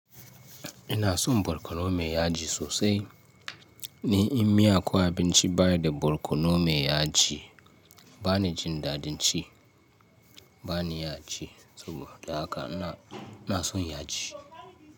Ina son borkono mai yaji sosai. Ni in miya ko abinci bayida da barkono mai yaji bani jin dadin ci. Bani iya ci saboda haka ina, ina son yaji.